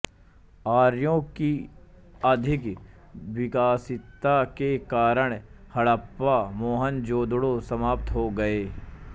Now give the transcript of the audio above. आर्यों की अधिक विकसितता के कारण हड़प्पा मोहनजोदड़ो समाप्त हो गए